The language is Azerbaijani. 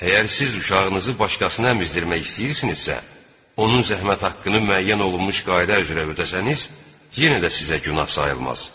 Əgər siz uşağınızı başqasına əmizdirmək istəyirsinizsə, onun zəhmət haqqını müəyyən olunmuş qayda üzrə ödərsəniz, yenə də sizə günah sayılmaz.